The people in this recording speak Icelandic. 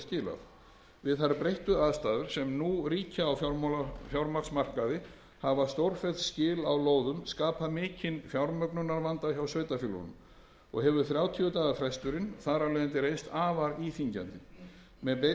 skilað við þær breyttu aðstæður sem nú ríkja á fjármagnsmarkaði hafa stórfelld skil á lóðum skapað mikinn fjármögnunarvanda hjá sveitarfélögunum og hefur þrjátíu daga fresturinn þar af leiðandi reynst afar íþyngjandi með breytingunni